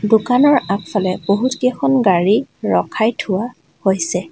দোকানৰ আগফালে বহুত কেইখন গাড়ী ৰখাই থোৱা হৈছে।